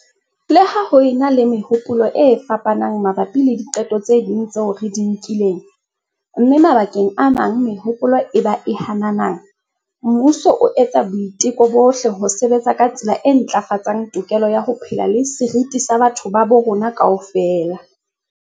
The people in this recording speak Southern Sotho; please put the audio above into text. Leha ho e na le mehopolo e fapanang mabapi le diqeto tse ding tseo re di nkileng, mme mabakeng a mang mehopolo e ba e hananang, mmuso o etsa boiteko bohle ho sebetsa ka tsela e ntlafatsang tokelo ya ho phela le seriti sa batho ba bo rona kaofela.